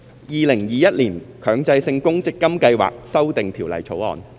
《2021年強制性公積金計劃條例草案》。